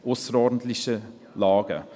«Ausserordentliche Lagen».